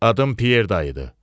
Adım Pyer Dayıdı.